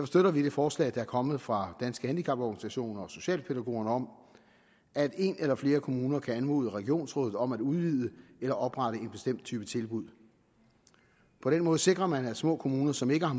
støtter vi det forslag der er kommet fra danske handicaporganisationer og socialpædagogerne om at en eller flere kommuner kan anmode regionsrådet om at udvide eller oprette en bestemt type tilbud på den måde sikrer man at små kommuner som ikke har